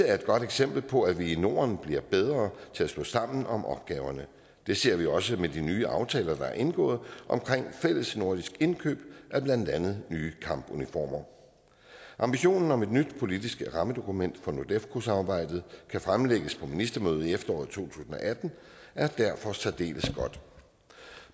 er et godt eksempel på at vi i norden bliver bedre til at stå sammen om opgaverne det ser vi også med de nye aftaler der er indgået om fællesnordisk indkøb af blandt andet nye kampuniformer ambitionen om at et nyt politisk rammedokument for nordefco samarbejdet kan fremlægges på ministermødet i efteråret to tusind og atten er derfor særdeles god